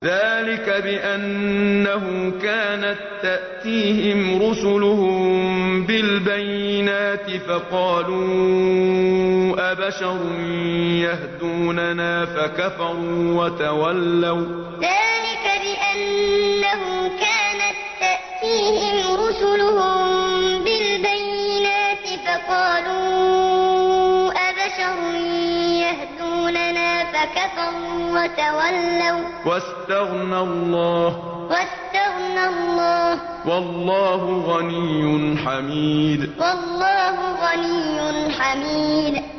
ذَٰلِكَ بِأَنَّهُ كَانَت تَّأْتِيهِمْ رُسُلُهُم بِالْبَيِّنَاتِ فَقَالُوا أَبَشَرٌ يَهْدُونَنَا فَكَفَرُوا وَتَوَلَّوا ۚ وَّاسْتَغْنَى اللَّهُ ۚ وَاللَّهُ غَنِيٌّ حَمِيدٌ ذَٰلِكَ بِأَنَّهُ كَانَت تَّأْتِيهِمْ رُسُلُهُم بِالْبَيِّنَاتِ فَقَالُوا أَبَشَرٌ يَهْدُونَنَا فَكَفَرُوا وَتَوَلَّوا ۚ وَّاسْتَغْنَى اللَّهُ ۚ وَاللَّهُ غَنِيٌّ حَمِيدٌ